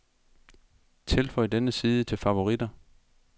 Tilføj denne side til favoritter.